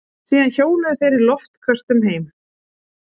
Síðan hjóluðu þeir í loftköstum heim.